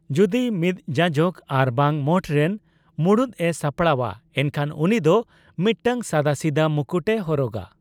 ᱡᱚᱫᱤ ᱢᱤᱫ ᱡᱟᱡᱚᱠ ᱟᱨᱵᱟᱝ ᱢᱚᱴᱷᱨᱮᱱ ᱢᱩᱬᱩᱫᱼᱮ ᱥᱟᱯᱲᱟᱣᱟ, ᱮᱱᱠᱷᱟᱱ ᱩᱱᱤ ᱫᱚ ᱢᱤᱫᱴᱟᱝ ᱥᱟᱫᱟᱥᱤᱫᱟᱹ ᱢᱩᱠᱩᱴᱮ ᱦᱚᱨᱚᱜᱟ ᱾